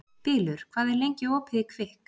Bylur, hvað er lengi opið í Kvikk?